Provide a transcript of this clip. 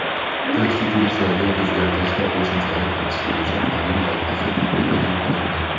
Konstitutsiyaga o‘zgartish va qo‘shimchalar kiritish bo‘yicha qonun loyihasi matni eʼlon qilindi.